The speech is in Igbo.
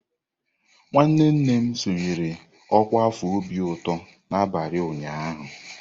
Nwanne nne m sonyeere ọkwa afọ obi obi ụtọ n'abalị ụnyaahụ.